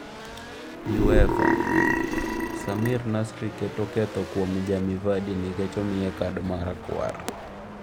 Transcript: UEFA: Samir Nasri keto ketho kuom Jamie Vardy nikech omiye kad marakwar